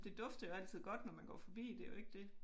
Det dufter jo altid godt når man går forbi det jo ikke det